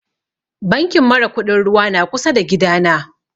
Bankin mara kuɗin ruwa na kusa da gida na